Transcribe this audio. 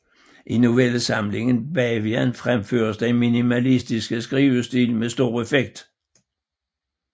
I novellesamlingen Bavian fremføres den minimalistiske skrivestil med stor effekt